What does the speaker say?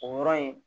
O yɔrɔ in